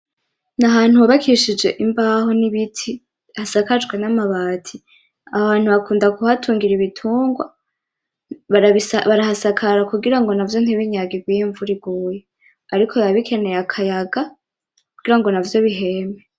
N’ ahantu hubakishije imbaho n’ibiti hasakajwe n’amabati. Aho hantu hakunda kuhatungira ibitungwa , barahasakara kugira ngo navyo ntibinyagirwe iyo imvura iguye. Kuko biba bikenewe akayaga kugira ngo navyo biheme.